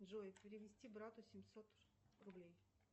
джой перевести брату семьсот рублей